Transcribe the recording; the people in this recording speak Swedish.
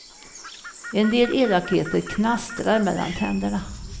En del elakheter knastrar mellan tänderna.